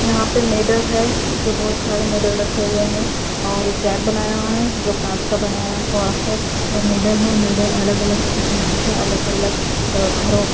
यहां पे मेडल है जो बहुत सारे मेडल रखे हुए हैं और एक रैक बनाया हुआ है जो कांच का बनाया हुआ है और मेडल है मेडल अलग-अलग किस्म के हैं अलग-अलग घरों--